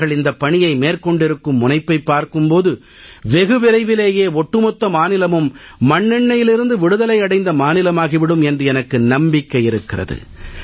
அவர்கள் இந்தப் பணியை மேற்கொண்டிருக்கும் முனைப்பைப் பார்க்கும் போது வெகு விரைவிலேயே ஒட்டுமொத்த மாநிலமும் மண்ணெண்ணெயிலிருந்து விடுதலை அடைந்த மாநிலமாகி விடும் என்று எனக்கு நம்பிக்கை இருக்கிறது